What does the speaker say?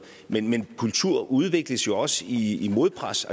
men kultur udvikles jo også i modpres